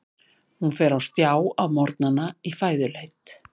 Hún fer á stjá á morgnana í fæðuleit.